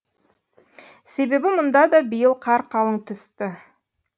себебі мұнда да биыл қар қалың түсті